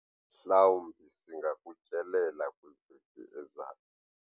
Mhlawumbi singakutyelela kwiveki ezayo.